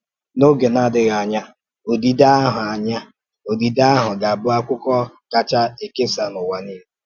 N’òge na-adịghị anya, òdídè ahụ anya, òdídè ahụ gà-abụ́ akwụkwọ a kacha èkèsà n’ụ̀wà niile.